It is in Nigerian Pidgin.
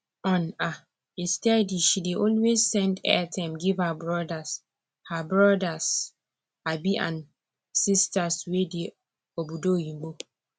on um a steady she dey always send airtime give her brothers her brothers um and sisters wey dey obodo oyinbo